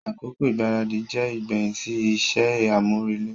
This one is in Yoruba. Akoko igbaradi jẹ igbẹhin si iṣẹ amurele.